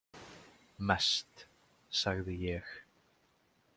Mest, sagði ég.